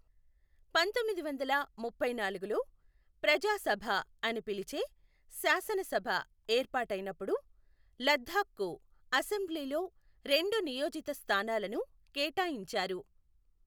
పంతొమ్మిది వందల ముప్పై నాలుగులో ప్రజా సభ అని పిలిచే శాసనసభ ఏర్పాటైనప్పుడు, లద్దాఖ్ కు అసెంబ్లీలో రెండు నియోజిత స్థానాలను కేటాయించారు.